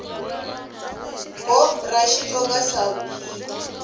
gov dra xitsonga sal p